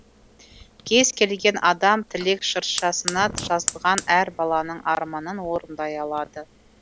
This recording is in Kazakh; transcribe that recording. кез келген адам тілек шыршасына жазылған әр баланың арманын орындай алады